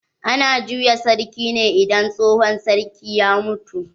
Ana juya sarki ne idan tsohon sarki ya mutu.